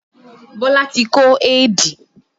Bọlá tí kó éèdì